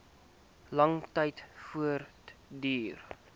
lang tyd voortduur